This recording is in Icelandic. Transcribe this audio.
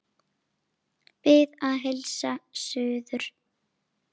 Bið að heilsa suður.